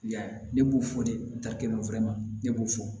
Y'a ye ne b'o fɔ de ta kɛ ne b'o fɔ